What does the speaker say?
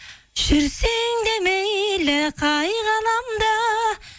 жүрсең де мейлі қай ғаламда